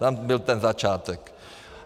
Tam byl ten začátek.